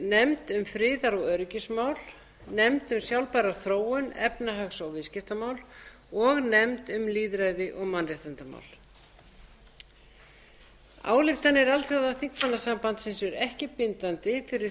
nefnd um friðar og öryggismál önnur nefnd um sjálfbæra þróun efnahags og viðskiptamál þriðju nefnd um lýðræði og mannréttindamál ályktanir alþjóðaþingmannasambandsins eru ekki bindandi fyrir